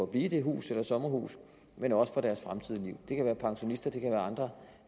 blive i det hus eller sommerhus men også for deres fremtidige liv det kan være pensionister det kan være andre